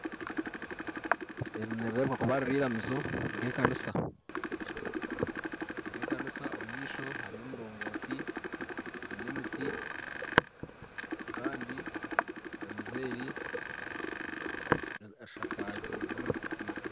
Eri nireerebeka kuba riri iramizo nk'ekanisa nka omu maisho hariyo omurongooti n'emiti kandi iramizo eri eshakazibwe amategura